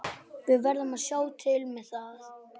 Við verðum að sjá til með það.